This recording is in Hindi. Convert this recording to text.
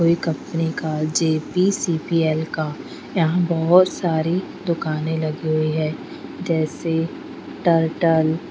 कोई कंपनी का J_ P_ C_ P_ L का यहाँ बोहोत सारी दुकाने लगी हुयी है जैसे टर्टल --